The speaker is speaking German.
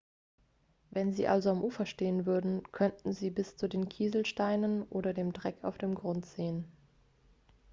wenn sie also am ufer stehen würden könnten sie bis zu den kieselsteinen oder dem dreck auf dem grund sehen.x